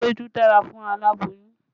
Ewédú dára fún aláboyún